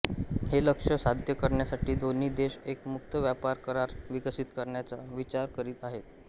हे लक्ष्य साध्य करण्यासाठी दोन्ही देश एक मुक्त व्यापार करार विकसित करण्याचा विचार करीत आहेत